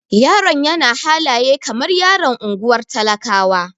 Yaron yana halaye kamar yaron ungwar talakawa.